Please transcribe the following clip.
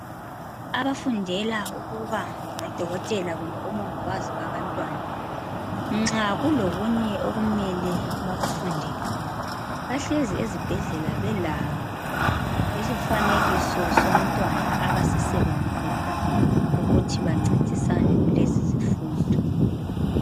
Abafundela ukuba ngodokothela kumbe omongikazi babantwana .Nxa kulokunye okumele bakufundele ,bahlezi ezibhedlela bela isifanekiso somntwana abasisebenzisa ukuthi bancedisane kulezi zifundo.